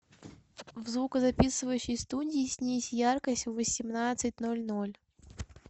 в звукозаписывающей студии снизь яркость в восемнадцать ноль ноль